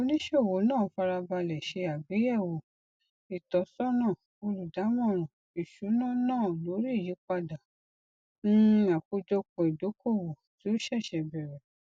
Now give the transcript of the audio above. oníṣòwò náà farabalẹ ṣe àgbéyẹwò ìtọsọnà olùdámọràn ìṣúná náà lórí ìyípadà um àkójọpọ ìdókòwò tí o ṣẹṣẹ bẹrẹ